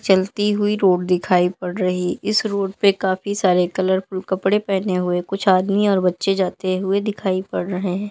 चलती हुई रोड दिखाई पड़ रही इस रोड पे काफी सारे कलरफुल कपड़े पहने हुए कुछ आदमी और बच्चे जाते हुए दिखाई पड़ रहे है।